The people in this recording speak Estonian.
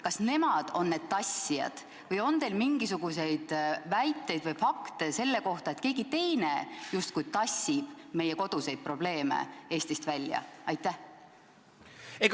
Kas nemad on need tassijad või on teil mingisuguseid väiteid või fakte selle kohta, et keegi teine justkui tassib meie koduseid probleeme Eestist välja?